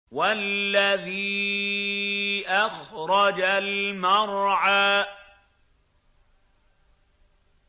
وَالَّذِي أَخْرَجَ الْمَرْعَىٰ